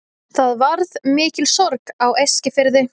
Það varð mikil sorg á Eskifirði.